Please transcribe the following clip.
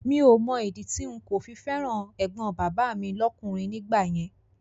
Mi ò Mọ ìdí tí n kò fi fẹ́ràn ẹ̀gbọ́n bàbá mi lọ́kùnrin nígbà yẹn